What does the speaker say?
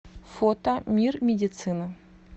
фото мир медицины